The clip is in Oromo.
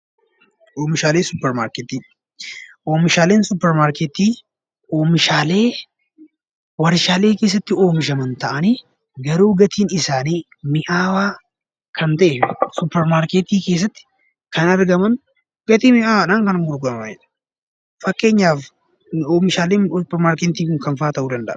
Oomishaalee Suppermaarkeetii: Oomishaaleen Suppermaarkeetii Oomishaalee warshaa keessatti oomishaman ta'anii garuu gatiin isaanii mi'aawaa kan ta’e Suppermaarkeetii keessatti kan argaman gatii mi'aawwaadhaan kan gurguramanidha. Fakkeenyaaf oomishaaleen Suppermaarkeetii kun kam fa'aa ta'uu danda’a?